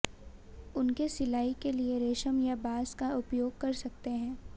उनके सिलाई के लिए रेशम या बांस का उपयोग कर सकते हैं